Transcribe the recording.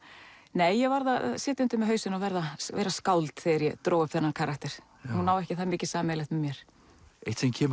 nei ég varð að setja undir mig hausinn og vera skáld þegar ég dró upp þennan karakter hún á ekki það mikið sameiginlegt með mér eitt sem kemur